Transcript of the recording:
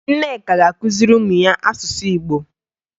Nneka ga-akụziri ụmụ ya asụsụ Igbo